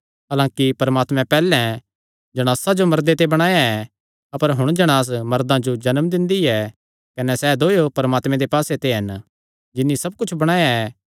हलांकि परमात्मैं पैहल्लैं जणासा जो मर्दे ते बणाया ऐ अपर हुण जणांस मर्दां जो जन्म दिंदी ऐ कने सैह़ दोयो परमात्मे दे पास्से ते हन जिन्नी सब कुच्छ बणाया ऐ